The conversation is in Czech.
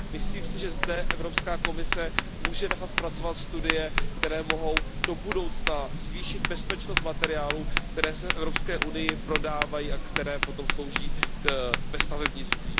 Myslím si, že zde Evropská komise může nechat zpracovat studie, které mohou do budoucna zvýšit bezpečnost materiálů, které se v Evropské unii prodávají a které potom slouží ve stavebnictví.